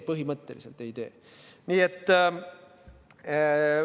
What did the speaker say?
Põhimõtteliselt ei osuta.